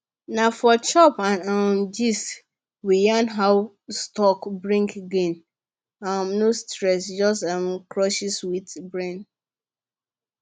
na for chop and um gist we yarn how stock bring gain um no stress just um with brain